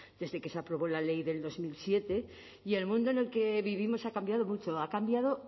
desde que se aprobó la ley del dos mil siete y el mundo en el que vivimos ha cambiado mucho ha cambiado